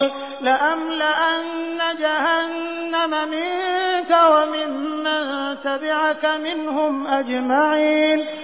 لَأَمْلَأَنَّ جَهَنَّمَ مِنكَ وَمِمَّن تَبِعَكَ مِنْهُمْ أَجْمَعِينَ